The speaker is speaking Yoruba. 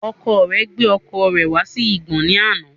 Ọkọ rẹ gbé ọkọ̀ rẹ̀ wá sí igbọ́ ní àná